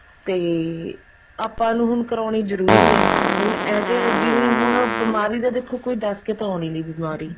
ਤੇ ਆਪਾਂ ਨੂੰ ਹੁਣ ਕਰਾਉਣੀ ਜਰੂਰੀ ਆ ਹੁਣ ਇਹ ਤੇ ਹੁਣ ਜਿਵੇਂ ਬਿਮਾਰੀ ਤਾਂ ਹੁਣ ਦੱਸ ਕੇ ਆਉਣੀ ਨੀ ਬਿਮਾਰੀ